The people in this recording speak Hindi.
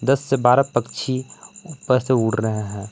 दस से बारह पक्षी ऊपर से उड़ रहे हैं।